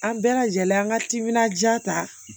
An bɛɛ lajɛlen an ka timinan diya ta